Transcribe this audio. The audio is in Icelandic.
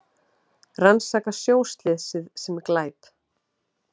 Rannsaka sjóslysið sem glæp